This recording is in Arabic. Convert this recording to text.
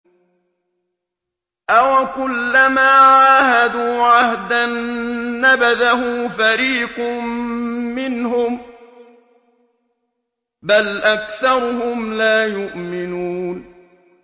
أَوَكُلَّمَا عَاهَدُوا عَهْدًا نَّبَذَهُ فَرِيقٌ مِّنْهُم ۚ بَلْ أَكْثَرُهُمْ لَا يُؤْمِنُونَ